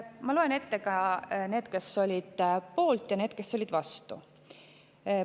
Ma loen ette ka need, kes olid poolt, ja need, kes olid vastu.